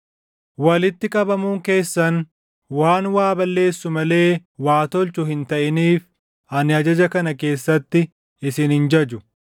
Walitti qabamuun keessan waan waa balleessu malee waa tolchu hin taʼiniif ani ajaja kana keessatti isin hin jaju.